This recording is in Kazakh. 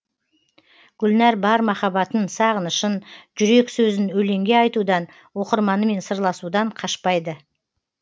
гүлнәр бар махаббатын сағынышын жүрек сөзін өлеңге айтудан оқырманымен сырласудан қашпайды